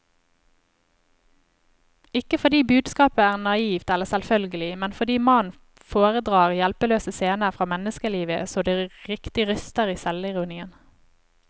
Ikke fordi budskapet er naivt eller selvfølgelig, men fordi mannen foredrar hjelpeløse scener fra menneskelivet så det riktig ryster i selvironien.